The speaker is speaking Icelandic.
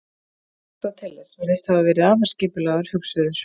aristóteles virðist hafa verið afar skipulagður hugsuður